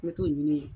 N bɛ t'o ɲini yen